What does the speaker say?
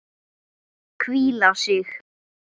Hvíla sig.